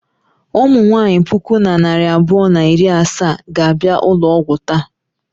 Ụmụ nwaanyị puku na narị abụọ na iri asaa ga-abịa ụlọ ọgwụ taa.